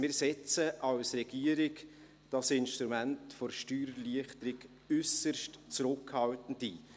Wir setzen als Regierung das Instrument der Steuererleichterung äusserst zurückhaltend ein.